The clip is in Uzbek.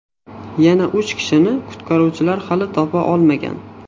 Yana uch kishini qutqaruvchilar hali topa olmagan.